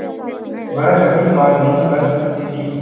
वह कभी मां नहीं बन सकती थी